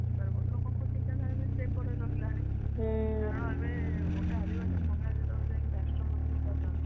ଲୋକଙ୍କ ଚିନ୍ତାଧାରା ବି ସେପଡେ ରହିଲା କାରଣ ଏବେ ଗୋଟେ ଆଦିବାସୀ ମହିଳା ଯେତେବେଳେ ଯାଇ କି ରାଷ୍ଟ୍ରପତି ହେଇପାରୁଛନ୍ତି